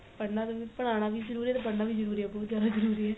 ਪੜ੍ਹਣਾ ਵੀ ਪੜ੍ਹਾਣਾ ਵੀ ਜਰੂਰੀ ਏ ਤੇ ਪੜ੍ਹਣਾ ਵੀ ਜਰੂਰੀ ਏ ਬਹੁਤ ਜਿਆਦਾ ਜਰੂਰੀ ਏ